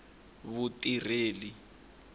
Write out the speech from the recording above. vutirheli